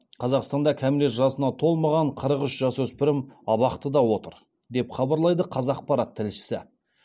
қазақстанда кәмелет жасына толмаған қырық үш жасөспірім абақтыда отыр деп хабарлайды қазақпарат тілшісі